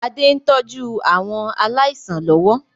Adé ń tọ́jú àwọn aláìsàn lọ́wọ́